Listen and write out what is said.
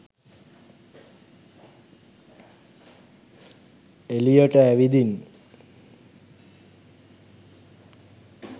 එලියට ඇවිදින්